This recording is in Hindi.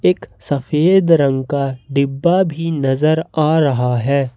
एक सफेद रंग का डिब्बा भी नजर आ रहा है।